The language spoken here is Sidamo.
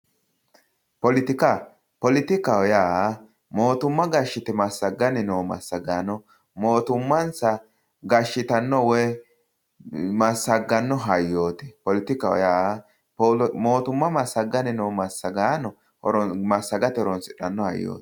Poletikka, poletikkaho yaa mootimma gashite massagani noo massagaano mootummansa gashittano woyi massagano hayyoti, poletikaho yaa mootumma massaganni noo massagaano massagate massagani horonsidhano hayyoti.